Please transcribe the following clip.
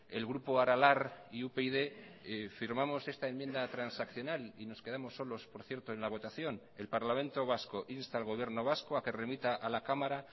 el grupo aralar y upyd firmamos esta enmienda transaccional y nos quedamos solos por cierto en la votación el parlamento vasco insta al gobierno vasco a que remita a la cámara